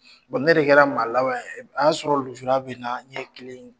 ne de kɛra maa laban a y'a sɔrɔ lujura bɛ n na, n ɲɛ kile in